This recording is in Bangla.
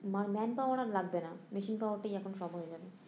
মার man power আর লাগবে না মেশিন power টাই এখন সব হয়ে গেলো